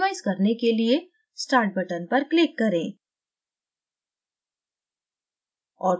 optimize करने के लिए start button पर click करें